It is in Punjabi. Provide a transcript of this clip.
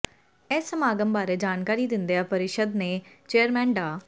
ਇਸ ਸਮਾਗਮ ਬਾਰੇ ਜਾਣਕਾਰੀ ਦਿੰਦਿਆਂ ਪਰਿਸ਼ਦ ਦੇ ਚੇਅਰਮੈਨ ਡਾ